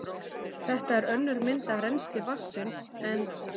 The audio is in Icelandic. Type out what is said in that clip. Þetta er önnur mynd af rennsli vatnsins en